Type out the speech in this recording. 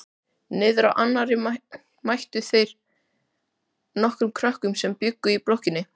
Niðrá annarri mættu þeir nokkrum krökkum sem bjuggu í blokkinni.